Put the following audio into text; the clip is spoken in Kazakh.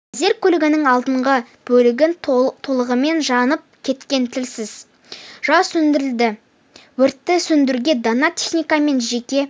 газель көлігінің алдыңғы бөлігі толығымен жанып кеткен тілсіз жау сөндірілді өртті сөндіруге дана техника мен жеке